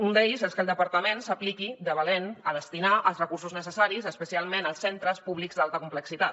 un és que el departament s’apliqui de valent a destinar els recursos necessaris especialment als centres públics d’alta complexitat